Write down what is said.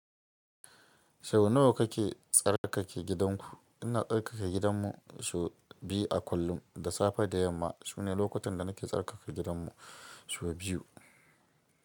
Sau nawa kake tsarkake gidanku? Ina tsarkake gidanmu sau biyu a kullum. Da safe da yamma sune lokutan da nake tsarkake gidanmu sau biyu.